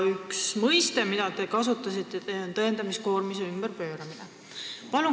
Üks mõiste, mida te kasutasite, on tõendamiskoormise ümberpööramine.